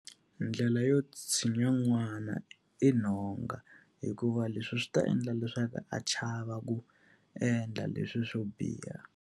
Ndlela yo tshinya n'wana i nhonga, hikuva leswi swi ta endla leswaku a chava ku endla leswi swo biha.